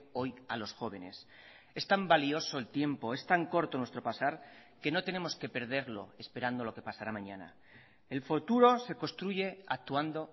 hoy a los jóvenes es tan valioso el tiempo es tan corto nuestro pasar que no tenemos que perderlo esperando lo que pasará mañana el futuro se construye actuando